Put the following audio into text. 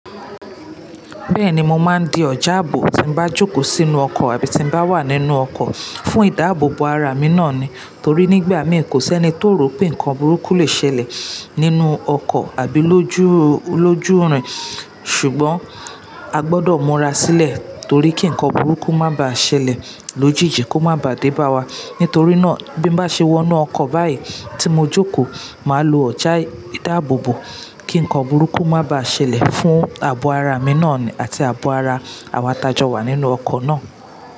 Bẹ́ẹ̀ni, mo máa ń di ọ̀jà ààbò tí bá jókòó sínú ọkọ̀ àbí tí bá wà nínú ọkọ̀, fún ìdáàbòbò ara mi náà ni. Torí nígbà mí kò sí ẹni tó rò pé nǹkan burúkú lè ṣẹlẹ̀ nínú ọkọ̀ àbí lójú, lójú rin. Ṣùgbọ́n a gbọdọ̀ múra sílẹ̀ torí kí nǹkan burúkú má bàá ṣẹlẹ̀ lójijì, kó má bàá dé bá wa. Nítorí náà bí mo bá ṣe wọ inú ọkọ̀ báyìí tí mo jókòó, màá lo ọ̀jà ìdáàbòbò kí nǹkan burúkú má bá á ṣẹlẹ̀ fún abo ara mi náà ni àti abo ara àwọn ta jọ́ wà nínú ọkọ̀ náà.